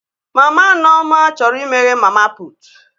Mama Nneoma chọrọ imeghe mama putu